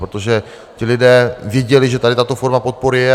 Protože ti lidé viděli, že tady tato forma podpory je.